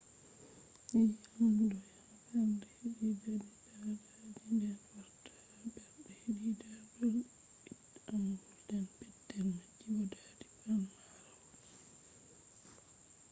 yii’am do yaha bernde hedi dadi daadaaji den wartaa ha bernde hedi dadol-ii’amwol ,den petel maji bo dadi pamarol